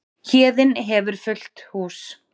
Héðinn hefur fullt hús